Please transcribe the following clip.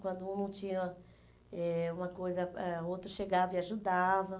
Quando um não tinha eh uma coisa, ah o outro chegava e ajudava.